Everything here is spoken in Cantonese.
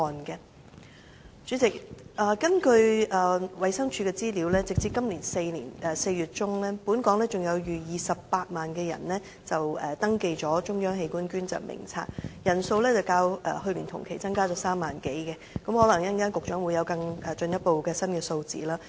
代理主席，根據衞生署的資料，截止今年4月中，本港有逾28萬人登記了"中央器官捐贈登記名冊"，人數較去年同期增加3萬多人，可能局長稍後有進一步的新數字。